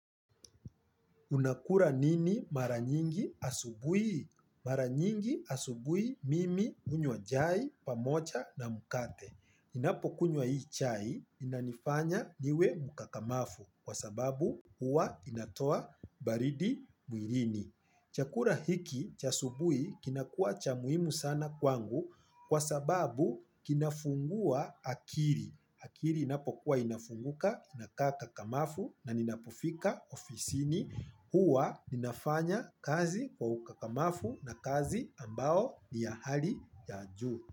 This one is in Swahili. Unakula nini mara nyingi asubuhi? Mara nyingi asubuhi mimi hunywa chai pamocha na mkate. Ninapokunywa hii chai inanifanya niwe mkakamafu kwa sababu huwa inatoa baridi mwirini. Chakura hiki cha asubuhi kinakuwa cha muhimu sana kwangu kwa sababu kinafungua akiri. Akiri inapokuwa inafunguka, inakaa kakamafu na ninapofika ofisini huwa ninafanya kazi kwa ukakamafu na kazi ambao ni ya hali ya juu.